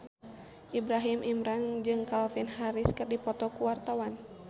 Ibrahim Imran jeung Calvin Harris keur dipoto ku wartawan